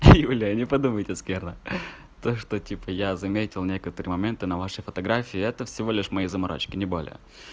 юля не подумайте скверно то что типа я заметил некоторые моменты на вашей фотографии это всего лишь мои заморочки не более